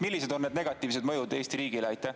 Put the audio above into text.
Millised on need negatiivsed mõjud Eesti riigile?